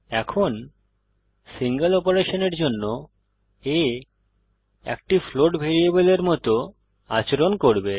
এখন সিঙ্গল অপারেশনের জন্য a একটি ফ্লোট ভ্যারিয়েবলের মত আচরণ করবে